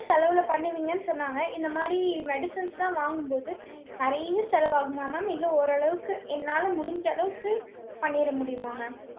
செலவுல பண்ணுவீங்கன்னு சொன்னாங்க. இந்த மாதிரி medicines லாம் வாங்கும்போது, நிறைய செலவாகுமா mam? இல்ல ஓரளவுக்கு, என்னால முடிஞ்ச அளவுக்கு, பண்ணிட முடியுமா mam